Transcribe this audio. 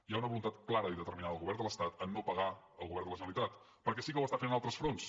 hi ha una voluntat clara i determinant del govern de l’estat de no pagar al govern de la generalitat perquè sí que ho està fent en altres fronts